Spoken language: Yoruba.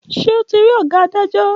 Ṣe ọ ti rí oga adajo?